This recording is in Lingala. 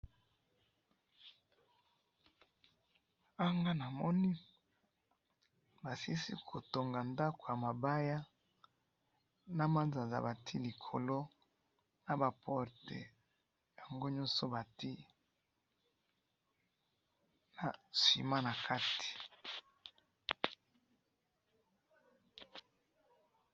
Awa nga namoni, basilisi kotonga ndako yamabaya, namanzanza bati likolo, naba porte, yangonyoso bati, na ciment nakati